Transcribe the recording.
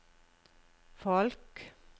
folk